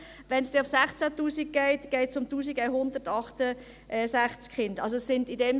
Wenn es auf 16 000 Franken steigt, geht es um 1168 Kinder.